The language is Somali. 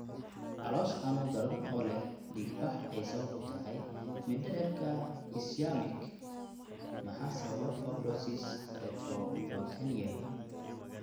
Caloosho xanuun daran oo leh dhiigbax ay sabab u tahay mindhicirka ischaemic Maxaa sababa fibrosis retroperitoneal?